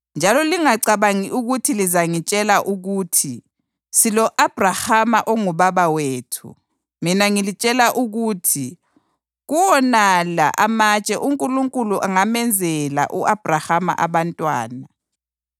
Njalo lingacabangi ukuthi lingazitshela ukuthi, ‘Silo-Abhrahama ongubaba wethu.’ Mina ngilitshela ukuthi kuwonala amatshe uNkulunkulu angamenzela u-Abhrahama abantwana.